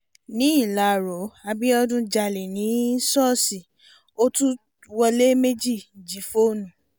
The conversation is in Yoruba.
níláró abiodun jálẹ̀ ní ṣọ́ọ̀ṣì ó tún wọlé méjì jí fóònù